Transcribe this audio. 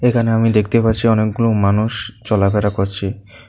এখানে আমি দেখতে পাচ্ছি অনেকগুলো মানুষ চলাফেরা করছে।